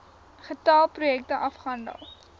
getal projekte afgehandel